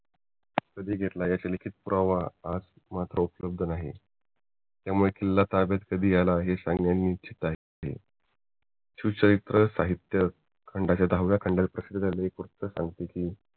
घेतला ह्या मात्र उपलब्ध नाही त्यामुळे किल्ला कधी ताब्यात आला हे सांगणेही निशित आहे शिवचरित्र साहित्य खंडाच्या दहाव्या खंडाच्या प्रश एक गोष्ट सागते कि